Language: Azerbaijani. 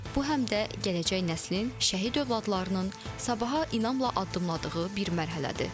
Bu həm də gələcək nəslin, şəhid övladlarının sabaha inamla addımladığı bir mərhələdir.